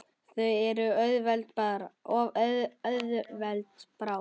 Þær eru of auðveld bráð.